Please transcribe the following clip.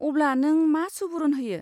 अब्ला, नों मा सुबुरुन होयो?